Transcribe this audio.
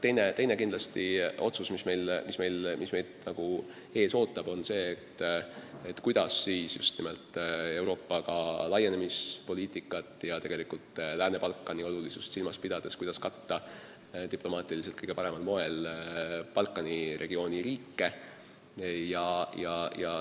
Teine otsus, mis meid ees ootab, on see, kuidas Euroopa Liidu laienemispoliitikat ja Lääne-Balkani olulisust silmas pidades katta diplomaatiliselt kõige paremal moel Balkani regiooni riike.